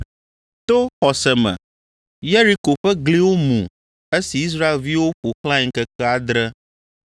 To xɔse me Yeriko ƒe gliwo mu esi Israelviwo ƒo xlãe ŋkeke adre.